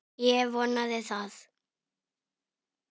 Ég vonaði það.